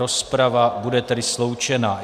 Rozprava bude tedy sloučena.